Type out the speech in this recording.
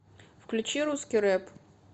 включи русский рэп